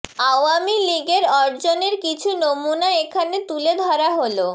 আওয়ামী লীগের অর্জনের কিছু নমুনা এখানে তুলে ধরা হলোঃ